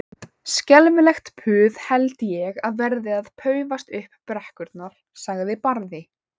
Skelfilegt puð held ég verði að paufast upp brekkurnar, sagði Barði.